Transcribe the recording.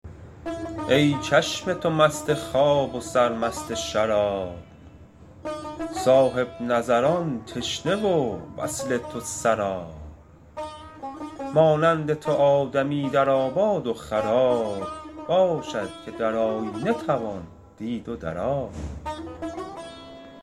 ای چشم تو مست خواب و سرمست شراب صاحب نظران تشنه و وصل تو سراب مانند تو آدمی در آباد و خراب باشد که در آیینه توان دید و در آب